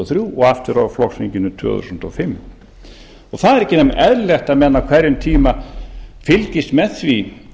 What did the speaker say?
þrjú og aftur á flokksþinginu tvö þúsund og fimm það er ekki nema eðlilegt að menn á hverjum tíma fylgist með því